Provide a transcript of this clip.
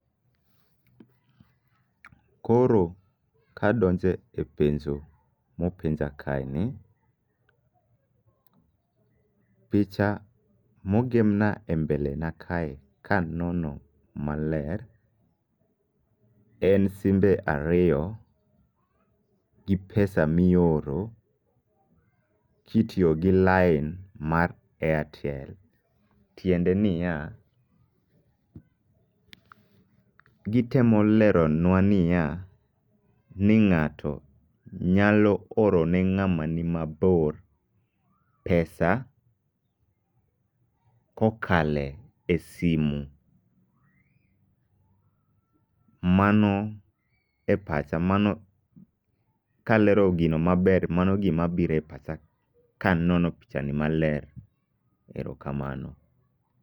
Koro kadonje e penjo mopenja kae ni. Picha mogemna e mbele na kae kanono male en simbe ariyo gi pesa mioro kitiyo gi lain mar Airtel. Tiende niya, gitemo leronwa niya, ni ng'ato nyalo oro ne ng'ama ni mabor pesa kokale e simu. Mano e pacha mano kalero gino maler mano gima bire pacha kanono picha ni maler, erokamano.